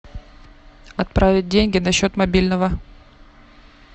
отправить деньги на счет мобильного